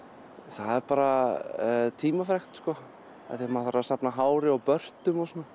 það er bara tímafrekt sko af því að maður þarf að safna hári og börtum og svona